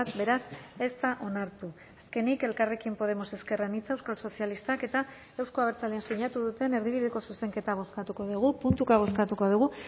beraz ez da onartu azkenik elkarrekin podemos ezker anitza euskal sozialistak eta euzko abertzaleek sinatu duten erdibideko zuzenketa bozkatuko dugu puntuka bozkatuko dugu